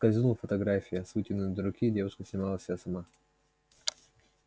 скользнула фотография с вытянутой руки девушка снимала себя сама